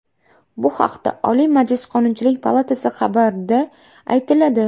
Bu haqda Oliy Majlis Qonunchilik palatasi xabari da aytiladi.